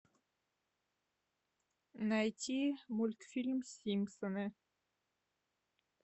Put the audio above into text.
найти мультфильм симпсоны